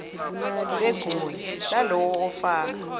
begunya lalowo ofaka